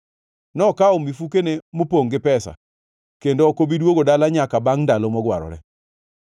Nokawo mifukone mopongʼ gi pesa, kendo ok obi duogo dala nyaka bangʼ ndalo mogwarore.”